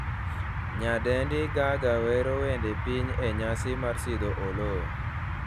nyadendi Gaga wero wend piny e nyasi mar sidho Oloo